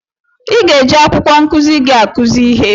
I ga-eji akwụkwọ nkụzi gị akụzi ihe.